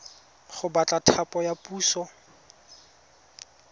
go batla thapo ya puso